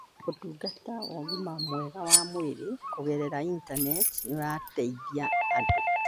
Ũtungata wa ũgima mwega wa mwĩrĩ kũgerera Intaneti nĩ ũrateithia andũ